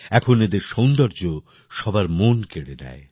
এখন এদের সৌন্দর্য্য সবার মন কেড়ে নেয়